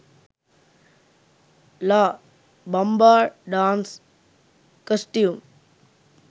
la bamba dance costume